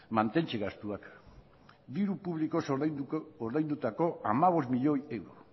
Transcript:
mantentze gastuak diru publikoz ordaindutako hamabost milioi euro